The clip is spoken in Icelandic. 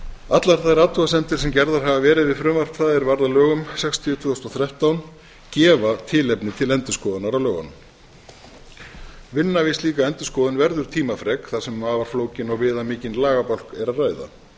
allar þær athugasemdir sem gerðar hafa verið við frumvarp það sem varð að lögum sextíu tvö þúsund og þrettán gefa tilefni til endurskoðunar á lögunum vinna við slíka endurskoðun verður tímafrek þar sem um afar flókinn og viðamikinn lagabálk er að ræða